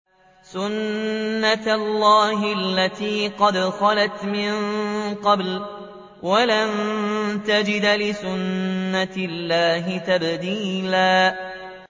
سُنَّةَ اللَّهِ الَّتِي قَدْ خَلَتْ مِن قَبْلُ ۖ وَلَن تَجِدَ لِسُنَّةِ اللَّهِ تَبْدِيلًا